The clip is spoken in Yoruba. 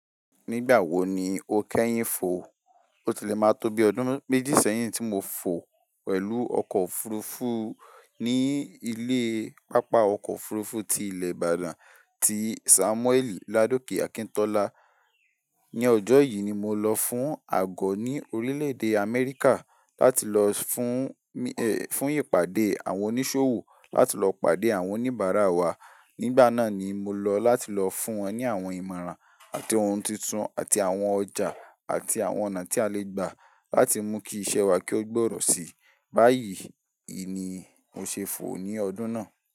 Nígbà wo ni o kẹ́yìn fò? O tilẹ̀ máa tó bi ọdún méjì sẹ́yìn tí mo fò pẹ̀lú ọkọ̀ òfurufú ní ilé pápá ọkọ̀ òfurufú tí ilẹ̀ Ibadan ti Samuel Ladoke Akintola. Ni ọjọ́ yìí ni mo lọ fún àgọ́ ní orílẹ̀-èdè Amẹ́ríkà láti lọ fún, fún ìpàdé àwọn oníṣòwò láti lọ pàdé àwọn oníbàárà wa. Nígbà náà ni mo lọ láti lọ fún wọn ní àwọn ìmọ̀ràn àti ohun titun àti àwọn ọjà àti àwọn ọ̀nà tí a lè gba láti mú kí iṣẹ́ wa kí ó gbòòrò sí. Báyìí, ìní mo ṣe fò ní ọdún náà.